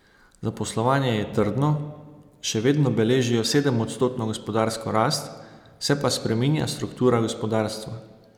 Zaposlovanje je trdno, še vedno beležijo sedemodstotno gospodarsko rast, se pa spreminja struktura gospodarstva.